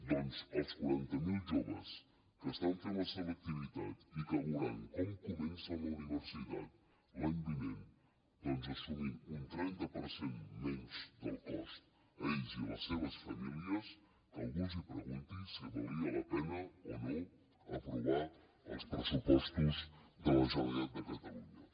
doncs als quaranta mil joves que estan fent la selectivitat i que veuran com comencen la universitat l’any vinent assumint un trenta per cent menys del cost ells i les seves famílies que algú els pregunti si valia la pena o no aprovar els pressupostos de la generalitat de catalunya